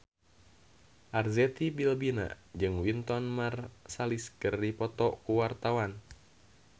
Arzetti Bilbina jeung Wynton Marsalis keur dipoto ku wartawan